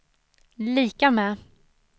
lika med